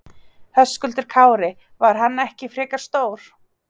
Höskuldur Kári: Var hann ekki frekar stór?